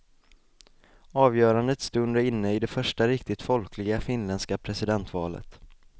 Avgörandets stund är inne i det första riktigt folkliga finländska presidentvalet.